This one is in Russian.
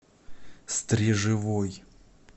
стрежевой